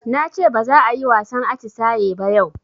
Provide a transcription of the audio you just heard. Nace baza ayi wasan atisaye ba yau